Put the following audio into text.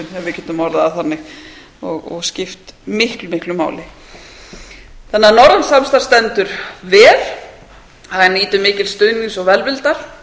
við getum orðað það þannig og skipt miklu máli þannig að norrænt samstarf stendur vel það nýtur mikils stuðnings og velvildar